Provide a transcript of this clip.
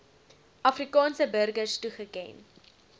afrikaanse burgers toegeken